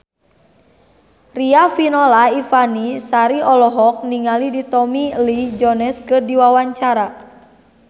Riafinola Ifani Sari olohok ningali Tommy Lee Jones keur diwawancara